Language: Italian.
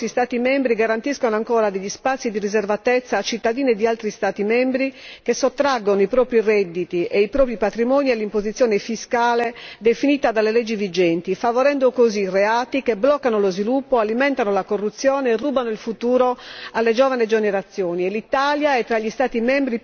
È quindi ingiustificabile che diversi Stati membri garantiscano ancora degli spazi di riservatezza a cittadini di altri Stati membri che sottraggono i propri redditi e i propri patrimoni all'imposizione fiscale definita dalle leggi vigenti, favorendo così reati che bloccano lo sviluppo, alimentano la corruzione e rubano il futuro alle giovani generazioni.